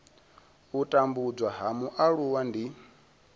u tambudzwa ha mualuwa ndi